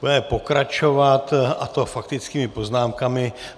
Budeme pokračovat, a to faktickými poznámkami.